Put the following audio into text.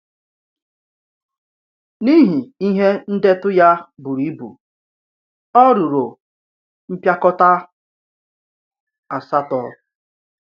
N’ihi ihe ndètụ ya buru ibu, ọ̀ rùrò mpịakọta asatọ.